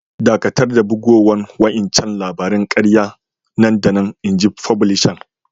Dakatar da bugowan wa'incan labarin kariya nan da nan! Inji fublisan.